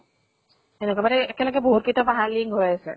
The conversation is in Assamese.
একেবাৰে বহুত কেইটা পাহাৰ link হৈ আছে।